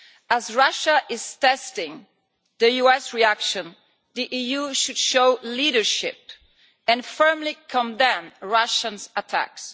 As Russia is testing the US reaction, the EU should show leadership and firmly condemn Russia's attacks.